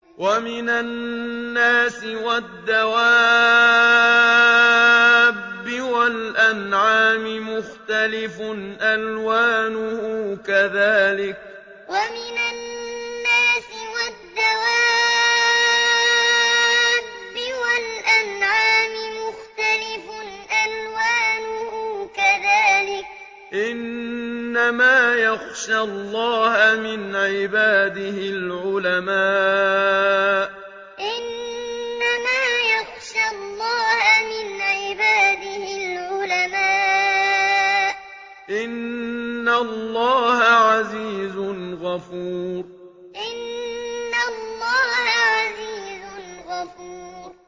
وَمِنَ النَّاسِ وَالدَّوَابِّ وَالْأَنْعَامِ مُخْتَلِفٌ أَلْوَانُهُ كَذَٰلِكَ ۗ إِنَّمَا يَخْشَى اللَّهَ مِنْ عِبَادِهِ الْعُلَمَاءُ ۗ إِنَّ اللَّهَ عَزِيزٌ غَفُورٌ وَمِنَ النَّاسِ وَالدَّوَابِّ وَالْأَنْعَامِ مُخْتَلِفٌ أَلْوَانُهُ كَذَٰلِكَ ۗ إِنَّمَا يَخْشَى اللَّهَ مِنْ عِبَادِهِ الْعُلَمَاءُ ۗ إِنَّ اللَّهَ عَزِيزٌ غَفُورٌ